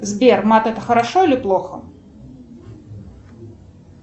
сбер мат это хорошо или плохо